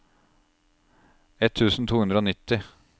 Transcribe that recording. ett tusen to hundre og nitti